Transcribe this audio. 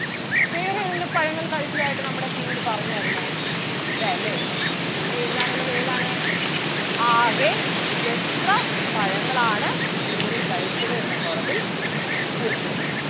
വേറേതെങ്കിലും പഴങ്ങൾ കഴിച്ചതായിട്ട് നമ്മടെ കിങ്ങിണി പറഞ്ഞാരുന്നോ ഇല്ലാല്ലേ ഇനി എഴുതാൻ ഉള്ളത് ഏതാണ് ആകെ എത്ര പഴങ്ങൾ ആണ് കിങ്ങിണി കഴിച്ചത് എന്ന column ത്തിൽ നമുക്ക് പൂരിപ്പിക്കാൻ ഒണ്ട്.